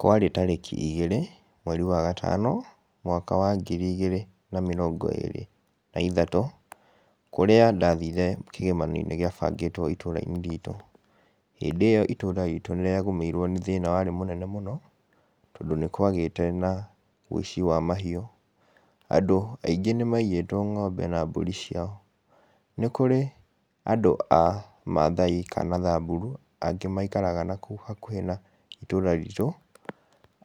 Kwarĩ tarĩki igĩrĩ, mweri wa gatano, mwaka wa ngiri igĩrĩ na mĩrongo ĩrĩ na ithatũ, kũrĩa ndathiire kĩgomano-inĩ gĩabangĩtwo itũũra-inĩ ritũ. Hĩndĩ ĩyo itũũra ritũ nĩrĩagũmĩirwo nĩ thĩna warĩ mũnene mũno, tondũ nĩkwagĩte na ũici wa mahiũ. Andũ aingĩ nĩmaiyĩtwo ng'ombe na mbũri ciao. Nĩ kũrĩ andũ a Mathai kana Samburu angĩ maikaraga nakũu hakuhĩ na itũũra ritũ,